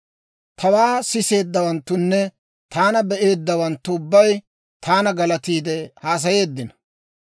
«Tawaa siseeddawanttunne taana be'eeddawanttu ubbay taana galatiide haasayeeddino.